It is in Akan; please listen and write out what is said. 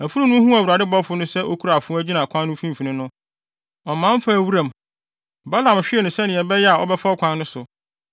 Afurum no huu Awurade bɔfo no sɛ okura afoa gyina kwan no mfimfini no, ɔman faa wuram. Balaam hwee no sɛnea ɛbɛyɛ a ɔbɛfa ɔkwan no so.